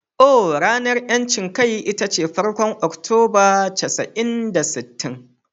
Ohh, ranar 'yancin kai ita ce farkon Oktoba casa'in da sittin.